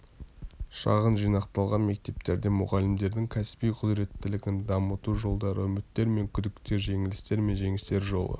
шағын жинақталған мектептерде мұғалімдердің кәсіби құзыреттілігін дамыту жолдары үміттер мен күдіктер жеңілістер мен жеңістер жолы